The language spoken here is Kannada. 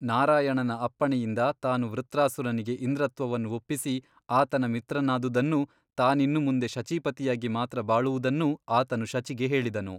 ನಾರಾಯಣನ ಅಪ್ಪಣೆಯಿಂದ ತಾನು ವೃತ್ರಾಸುರನಿಗೆ ಇಂದ್ರತ್ವವನ್ನು ಒಪ್ಪಿಸಿ ಆತನ ಮಿತ್ರನಾದುದನ್ನೂ ತಾನಿನ್ನು ಮುಂದೆ ಶಚೀಪತಿಯಾಗಿ ಮಾತ್ರ ಬಾಳುವುದನ್ನೂ ಆತನು ಶಚಿಗೆ ಹೇಳಿದನು.